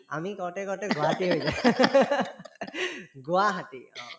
আমি কওঁতে কওঁতে গুহাটী হৈ গুৱাহাটী অ